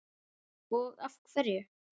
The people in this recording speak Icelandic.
og af hverju?